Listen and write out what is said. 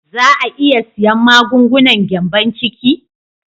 Za a iya siyan magungunan gyambon ciki?